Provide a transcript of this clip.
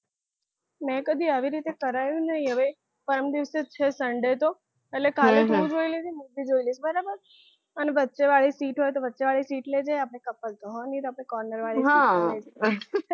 મેં કદી આવી રીતે કરાવ્યું નથી હવે પરમ દિવસે જ છે sunday તો એટલે કાલે તું જોઈ લેજે હું પણ જોઈ લઈશ બરોબર અને વચ્ચે વાળી sit હોય તો વચ્ચે વાળી sit લેજે ને couple તો હોય નહીં એટલે આપણે corner sit લે